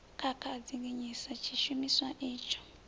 khakha a dzinginyisa tshishumiswa itsho